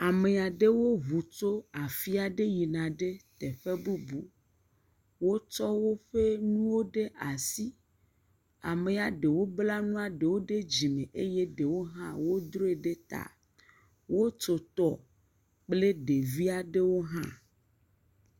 Ame aɖewo ŋu tso afi aɖe yina ɖe teƒe bubu. Wotsɔ woƒe nuwo ɖe asi. Amea ɖewo bla nua ɖewo ɖe dzime eye ɖewo droe ɖe ta. Wotso tɔ kple ɖevi aɖewo hã.